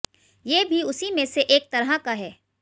ये भी उसी में से एक तरह का है